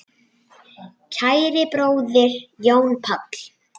Kæri bróðir, Jón Páll.